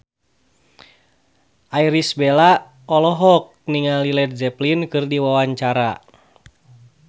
Irish Bella olohok ningali Led Zeppelin keur diwawancara